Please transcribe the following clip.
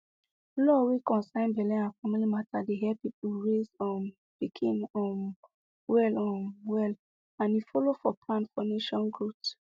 law wey concern belle and family matter dey help people raise um pikin um well um well and e follow for plan for nation growth